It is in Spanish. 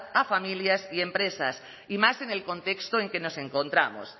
a familias y empresas y más en el contexto en que nos encontramos